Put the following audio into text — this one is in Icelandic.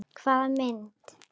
Hvaða mynd?